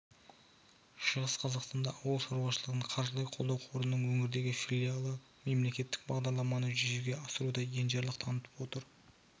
шығыс қазақстанда ауыл шаруашылығын қаржылай қолдау қорының өңірдегі филиалы мемлекеттік бағдарламаны жүзеге асыруда енжарлық танытып отыр